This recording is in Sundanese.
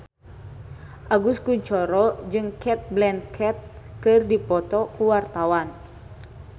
Agus Kuncoro jeung Cate Blanchett keur dipoto ku wartawan